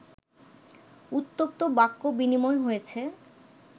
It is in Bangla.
উত্তপ্ত বাক্য বিনিময় হয়েছে